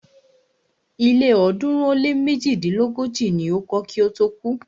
Ilé ọ̀ọ́dúnrún ó lé méjidínlógójì ni o kọ́ kí ó tó kú.